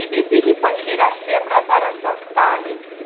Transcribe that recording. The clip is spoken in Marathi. बीबीसी हि पहिली राष्ट्रीय प्रसारण संस्था आहे.